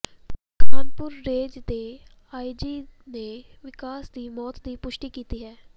Kanpur range ਦੇ IG ਨੇ ਵਿਕਾਸ ਦੀ ਮੌਤ ਦੀ ਪੁਸ਼ਟੀ ਕੀਤੀ ਹੈ